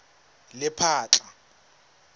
lephatla